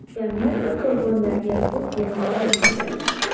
Jamiyat bu qurbonlarga ko‘z yuma olmaydi.